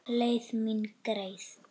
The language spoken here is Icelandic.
Leið mín greið.